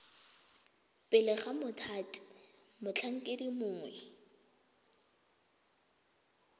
pele ga mothati motlhankedi mongwe